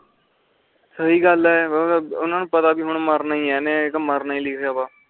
ਸਹੀ ਗੱਲ ਆ ਓਹਨਾ ਨੂੰ ਪਤਾ ਹੁਣ ਮਰਨਾ ਏ ਆ ਏਨੇ ਮਰਨਾ ਏ ਲਿਖਿਆ ਵਾ